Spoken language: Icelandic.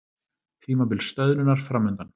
Tímabil stöðnunar framundan